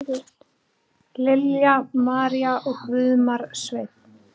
Lilja María og Guðmar Sveinn.